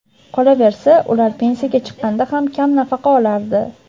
Qolaversa, ular pensiyaga chiqqanda ham kam nafaqa olardi.